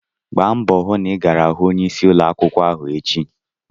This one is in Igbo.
Gbaa mbọ hụ na ị gara hụ onyeisi ụlọ akwụkwọ echi!